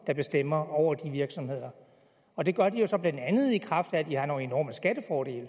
der bestemmer over de virksomheder og det gør de jo så blandt andet i kraft af at de har nogle enorme skattefordele